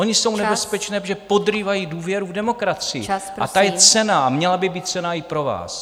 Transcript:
Ony jsou nebezpečné, protože podrývají důvěru v demokracii, a ta je cenná a měla by být cenná i pro vás.